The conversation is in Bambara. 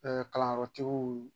Ɛɛ kalanyɔrɔtigiw